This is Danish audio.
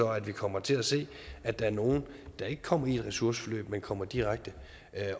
at vi kommer til at se at der er nogle der ikke kommer i ressourceforløb men kommer direkte